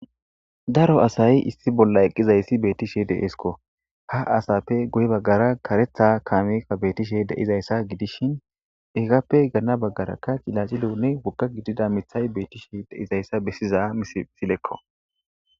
Daro asay issi bolla eqqizayssi beettishe deesko ha asappe guye baggara karetha kaameka beetishe deizayssa gidishin eggappe ganna baggarakka cilacilounne wogga gidida mithay beettishe deizayssa bessiza misilekko.